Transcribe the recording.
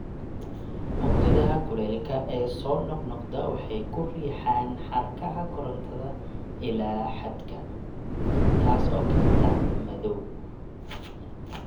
Mowjadaha kulaylka ee soo noqnoqda waxay ku riixaan xadhkaha korantada ilaa xadka, taas oo keenta madow.